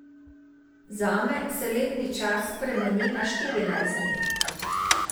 Zame se letni čas spremeni na štirinajst dni.